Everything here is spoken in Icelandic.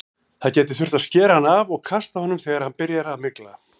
Það gæti þurft að skera hann af og kasta honum þegar hann byrjar að mygla.